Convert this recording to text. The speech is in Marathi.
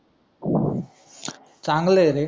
चांगलंय रे